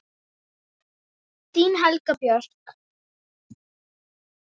Þín Helga Björk.